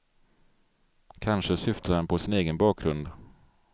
Kanske syftar han på sin egen bakgrund.